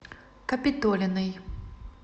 капитолиной